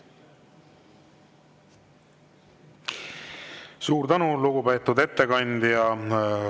Suur tänu, lugupeetud ettekandja!